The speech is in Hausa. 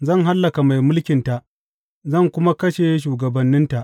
Zan hallaka mai mulkinta zan kuma kashe shugabanninta.